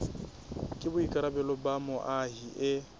ke boikarabelo ba moahi e